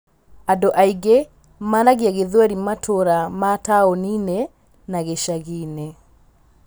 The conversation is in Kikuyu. Andũ aingĩ maraagia Gĩthweri matũũra ma taũni-inĩ na gĩcagi-inĩ.